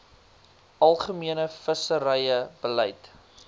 algemene visserye beleid